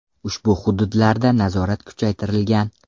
Ushbu hududlarda nazorat kuchaytirilgan.